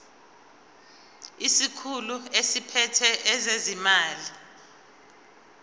isikhulu esiphethe ezezimali